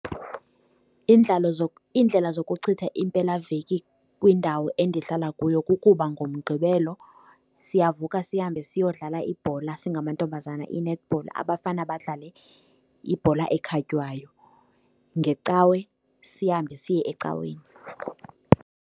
Iindlela zokuchitha impelaveki kwindawo endihlala kuyo kukuba ngoMgqibelo siyavuka sihambe siyodlala ibhola, singamantombazana i-netball, abafana badlale ibhola ekhatywayo. NgeCawe sihambe siye ecaweni.